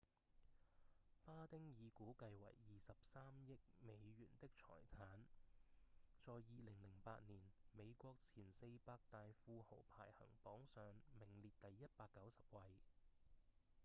巴汀以估計為23億美元的財產在2008年美國前四百大富豪排行榜上名列第190位